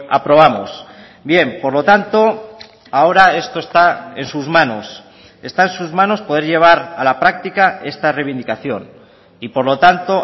aprobamos bien por lo tanto ahora esto está en sus manos está en sus manos poder llevar a la práctica esta reivindicación y por lo tanto